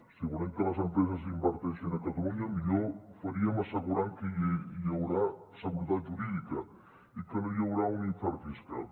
si volem que les empreses inverteixin a catalunya millor faríem assegurant que hi haurà seguretat jurídica i que no hi haurà un infern fiscal